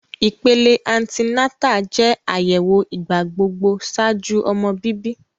Ipele anti-nata jẹ ayẹwo igbagbogbo ṣaaju ọmọ bibi.